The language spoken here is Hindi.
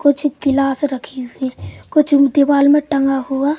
कुछ गिलास रखी हुई कुछ दीवाल में टंगा हुआ--